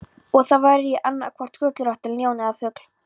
Og þá væri ég annaðhvort gullrautt ljón eða fugl.